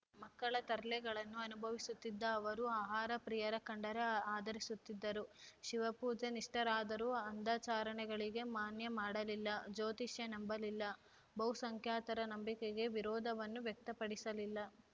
ಮಕ್ಕಳ ತರ್ಲೆಗಳನ್ನು ಅನುಭವಿಸುತ್ತಿದ್ದ ಅವರು ಆಹಾರ ಪ್ರಿಯರ ಕಂಡರೆ ಆದರಿಸುತ್ತಿದ್ದರು ಶಿವಪೂಜೆ ನಿಷ್ಠರಾದರೂ ಅಂಧಾಚರಣೆಗಳಿಗೆ ಮಾನ್ಯ ಮಾಡಲಿಲ್ಲ ಜ್ಯೋತಿಷ್ಯ ನಂಬಲಿಲ್ಲ ಬಹುಸಂಖ್ಯಾತರ ನಂಬಿಕೆಗೆ ವಿರೋಧವನ್ನೂ ವ್ಯಕ್ತಪಡಿಸಲಿಲ್ಲ